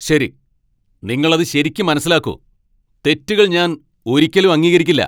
ശരി, നിങ്ങൾ അത് ശരിക്ക് മനസ്സിലാക്കൂ. തെറ്റുകൾ ഞാൻ ഒരിക്കലും അംഗീകരിക്കില്ല.